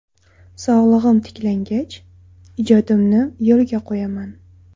Sog‘lig‘im tiklangach, ijodimni yo‘lga qo‘yaman.